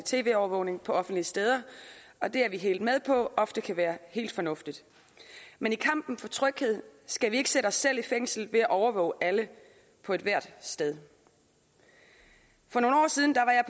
tv overvågning på offentlige steder og det er vi helt med på ofte kan være helt fornuftigt men i kampen for tryghed skal vi ikke sætte os selv i fængsel ved at overvåge alle på ethvert sted for nogle år siden